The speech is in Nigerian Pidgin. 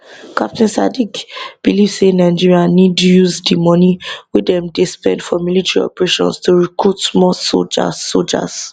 captain sadiq believe say nigeria need to use di money wey dem dey spend for military operations to recruit more soldiers soldiers